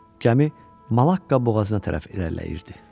Gəmi Malakka boğazına tərəf irəliləyirdi.